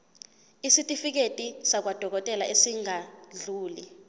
isitifiketi sakwadokodela esingadluli